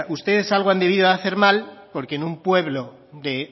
ustedes algo han debido de hacer mal porque en un pueblo de